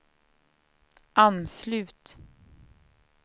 anslut